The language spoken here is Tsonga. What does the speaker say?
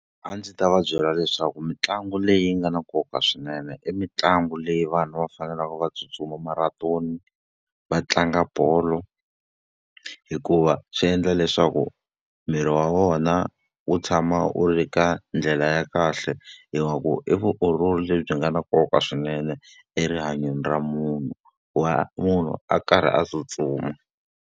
A ndzi ta va byela leswaku mitlangu leyi nga na nkoka swinene i mitlangu leyi vana va faneleke va tsutsuma marantoni, va tlanga bolo. Hikuva swi endla leswaku miri wa wona wu tshama wu ri ka ndlela ya kahle, i vutiolori lebyi nga na nkoka swinene erihanyweni ra munhu wa munhu a karhi a tsutsuma.